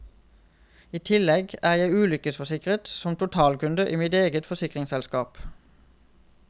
I tillegg er jeg ulykkesforsikret som totalkunde i mitt eget forsikringsselskap.